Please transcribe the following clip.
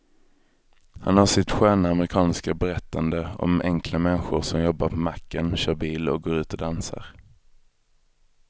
Han har sitt sköna amerikanska berättande om enkla människor som jobbar på macken, kör bil och går ut och dansar.